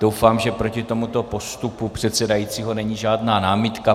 Doufám, že proti tomuto postupu předsedajícího není žádná námitka.